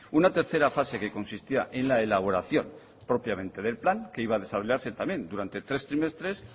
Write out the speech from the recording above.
una tercera fase que consistía en la elaboración propiamente del plan que iba a desarrollarse también durante tres trimestres